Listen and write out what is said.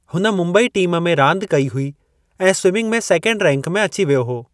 हुन मुंबई टीम में रांदि कई हुई ऐं स्विमिंग में सेकेंड रैंक में अची वियो हो।